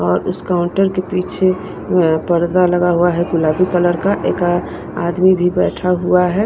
और उस काउंटर के पीछे पर्दा लगा हुआ है गुलाबी कलर का एक आदमी भी बैठा हुआ है।